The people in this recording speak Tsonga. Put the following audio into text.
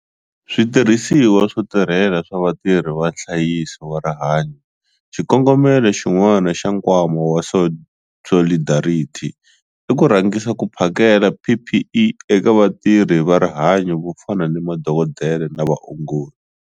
Switirhisiwa swo tirhela swa vatirhi va nhlayiso wa rihanyo Xikongomelo xin'wana xa Nkwama wa Solidarity i ku rhangisa ku phakela PPE eka vatirhi va rihanyo vo fana ni madokodela na vaongori.